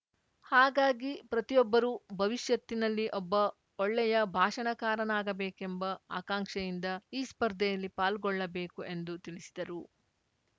ಹಾಗಾಗಿ ಪ್ರತಿಯೊಬ್ಬರು ಭವಿಷ್ಯತ್ತಿನಲ್ಲಿ ಒಬ್ಬ ಒಳ್ಳೆಯ ಭಾಷಣಕಾರನಾಗಬೇಕೆಂಬ ಆಕಾಂಕ್ಷೆಯಿಂದ ಈ ಸ್ಪರ್ಧೆಯಲ್ಲಿ ಪಾಲ್ಗೊಳ್ಳಬೇಕು ಎಂದು ತಿಳಿಸಿದರು